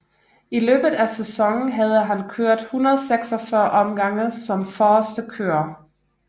I løbet af sæsonen havde han kørt 146 omgange som forreste kører